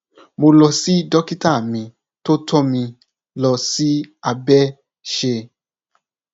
mo lọ sí dókítà mi tó tọ mi lọ sí abẹṣè